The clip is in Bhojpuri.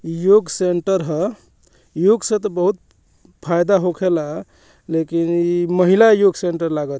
योग सेण्टर हअ योग से ते बहुत फायदा होखेला लेकिन इ महिला योग सेण्टर लगा --